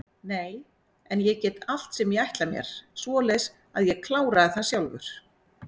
Nei en ég get allt sem ég ætla mér, svoleiðis að ég kláraði það sjálfur.